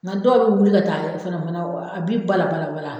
Nga dɔw be wuli ka taa wɔrɔ fɛnɛ fɛnɛ a bi bala bala